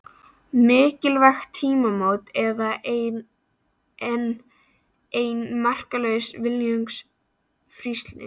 Mikilvæg tímamót eða enn ein marklaus viljayfirlýsingin?